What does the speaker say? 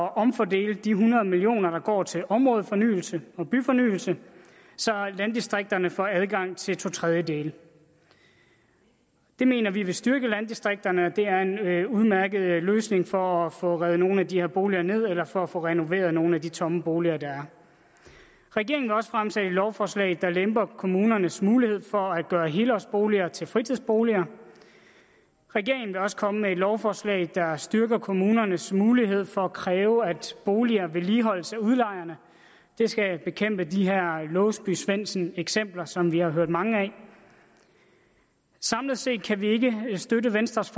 at omfordele de hundrede million kr der går til områdefornyelse og byfornyelse så landdistrikterne får adgang til to tredjedele det mener vi vil styrke landdistrikterne og det er en udmærket løsning for at få revet nogle af de her boliger ned eller for at få renoveret nogle af de tomme boliger der er regeringen vil også fremsætte et lovforslag der lemper kommunernes mulighed for at gøre helårsboliger til fritidsboliger regeringen vil også komme med et lovforslag der styrker kommunernes mulighed for at kræve at boliger vedligeholdes af udlejerne det skal bekæmpe de her låsby svendsen eksempler som vi har hørt mange af samlet set kan vi ikke støtte venstres